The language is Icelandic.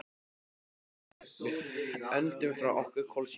Andri: Við öndum frá okkur kolsýru.